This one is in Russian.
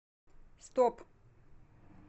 стоп